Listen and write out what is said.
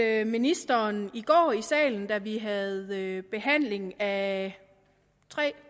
at ministeren i går i salen da vi havde behandlingen af